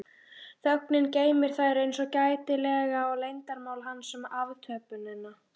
Þögnin geymir þær eins gætilega og leyndarmál hans um aftöppunina.